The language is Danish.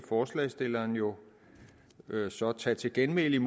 forslagsstillerne jo så tage til genmæle